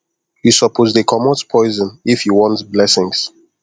you suppose dey comot poison if you want blessings